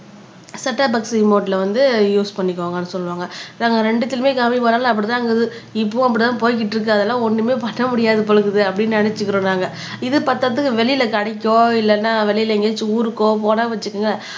அந்த set up box ரிமோட்ல வந்து யூஸ் பண்ணிக்கோங்கன்னு சொல்லுவாங்க நாங்க இரண்டுத்துலையுமே கம்மிபன்னாலும் அப்படித்தான் இருக்குது இப்பவும் அப்படித்தான் போய்கிட்டு இருக்கு அதெல்லாம் ஒண்ணுமே பண்ண முடியாது போல இருக்குது அப்படின்னு நினைச்சுக்கிறோம் நாங்க இது பத்தாததுக்கு வெளியில கடைக்கோ இல்லைன்னா வெளியில எங்கேயாச்சும் ஊருக்கோ போனான்னு வச்சுக்கோங்க